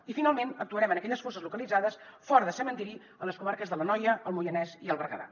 i finalment actuarem en aquelles fosses localitzades fora de cementiri a les comarques de l’anoia el moianès i el berguedà